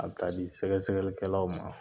Bɛ taa di sɛgɛsɛgɛlikɛlaw ma..